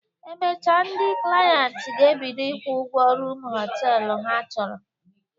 Emechaa, ndị klient ga-ebido ịkwụ ụgwọ ruum họtelu ha chọrọ